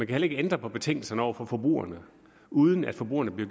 kan ændre på betingelserne over for forbrugerne uden at forbrugerne bliver